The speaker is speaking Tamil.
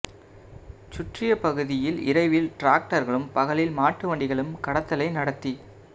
சுற்றிய பகுதியில் இரவில் டிராக்டர்களும் பகலில் மாட்டு வண்டிகளும் கடத்தலை நடத்தி